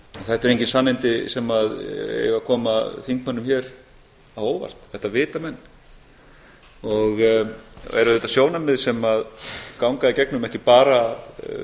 þetta eru engin sannindi sem eiga að koma þingmönnum hér á óvart þetta vita menn og eru auðvitað sjónarmið sem ganga í gegnum ekki bara